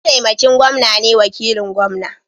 Mataimakin gwamna ne wakilin gwamna